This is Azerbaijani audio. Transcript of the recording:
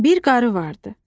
Bir qarı vardı.